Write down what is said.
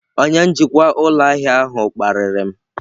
Onye njikwa ụlọ ahịa ahụ kparịrị m.